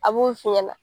A b'o f'i ɲɛna